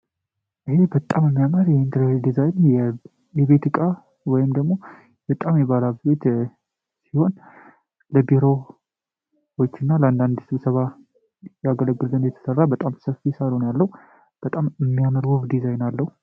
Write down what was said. ይህ በጣም የሚያምር የህንድ ዲዛይን የቤት እቃ እና በጣም የባለሀብት ቤት ሲሆን ለቢሮ ቤት እና ለአንዳንድ ስብሰባ ለያገለግለን የተሰራ በጣም ሰፊ ሳሎን ያለውበጣም ሚያምረሰ ወብ ዲዛይን አለው።